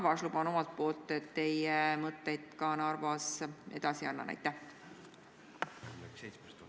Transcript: Ma luban omalt poolt, et annan teie mõtted Narvas edasi.